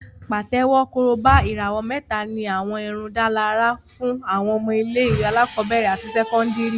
Pàtẹ́wọ́, Korobá, ìràwọ̀ mẹ́ta ní àwọn ìdárunlárà fún àwọn ọmọ ilé-ìwé alákọ̀ọ́bẹ̀rẹ̀ àti sẹ́kọ́ndìrì